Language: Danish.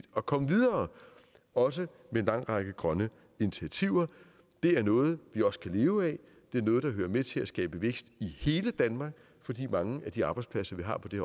at komme videre også med en lang række grønne initiativer det er noget vi også kan leve af det er noget der hører med til at skabe vækst i hele danmark fordi mange af de arbejdspladser vi har på det